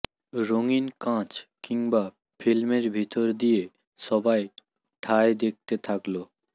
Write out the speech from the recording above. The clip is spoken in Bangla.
রঙিন কাচ কিংবা ফিল্মের ভিতর দিয়ে সবাই ঠায় দেখতে থাকল